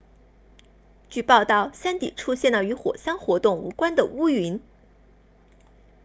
据报道山底出现了与火山活动无关的乌云